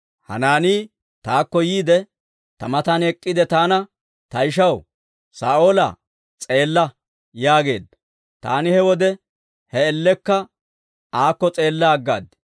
Hanaanii taakko yiide, ta matan ek'k'iide taana, ‹Ta ishaw Saa'oolaa, s'eella› yaageedda. Taani he wode he man''iyaan aakko s'eella aggaad.